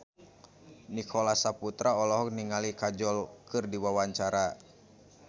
Nicholas Saputra olohok ningali Kajol keur diwawancara